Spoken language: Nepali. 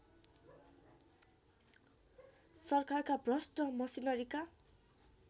सरकारका भ्रष्ट मसिनरीका